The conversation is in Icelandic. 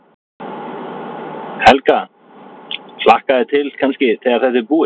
Helga: Hlakkar þig til kannski, þegar þetta er búið?